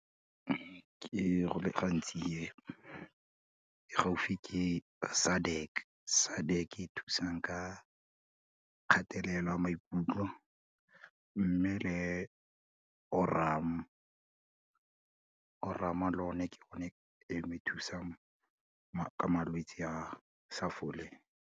Ke, go le gantsi ke, e gaufi ke SADC, SADC e thusang ka kgatelelo ya maikutlo, mme le Aurum, Aurum le yone ke gone e ne thusang ka malwetsi a sa foleng.